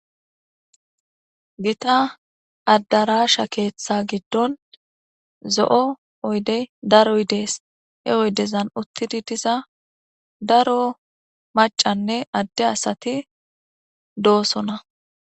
Gita addarashsha keththa giddon zo'o daro oyidey deeshe oydenni uuttidii diza daro macanne adde asati dossonna